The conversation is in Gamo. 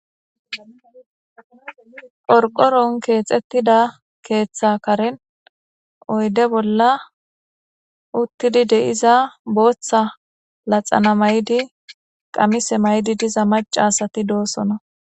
Qorqoron keexettida keeththa karen oyde bolla uttidi de'iza booththa laxana mayidi qamise mayidi diza macca asa doosona.